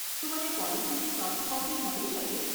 શું મને પોલિસીની સોફ્ટ કોપી મળી શકે?